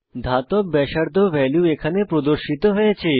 ধাতব ব্যাসার্ধ ভ্যালু এখানে প্রদর্শিত হয়েছে